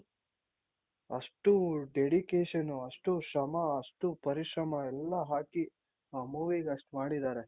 ಅಷ್ಟು dedication ಅಷ್ಟು ಶ್ರಮ ಅಷ್ಟು ಪರಿಶ್ರಮ ಎಲ್ಲ ಹಾಕಿ ಆ movie ಗಷ್ಟ್ ಮಾಡಿದಾರೆ.